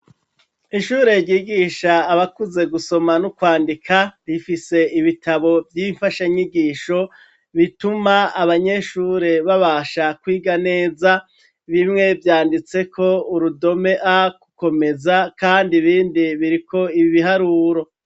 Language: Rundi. Ishure ryigisha abakuze gusoma n'ukwandika, rifise ibitabo vy'imfasha nyigisho, bituma abanyeshure babasha kwiga neza, bimwe vyanditseko urudome a gukomeza kandi ibindi biriko ibiharuro.